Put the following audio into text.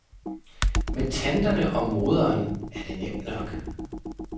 Med tanterne og moderen er det nemt nok.